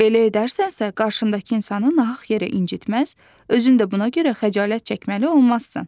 Belə edərsənsə, qarşındakı insanı nahaq yerə incitməz, özün də buna görə xəcalət çəkməli olmazsan.